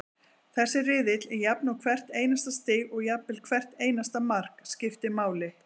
Þessi riðill er jafn og hvert einasta stig og jafnvel hvert einasta mark, skiptir máli.